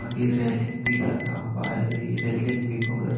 आगे रेलिंग भी लगा हुआ है और ये रेलिंग भी बहुत --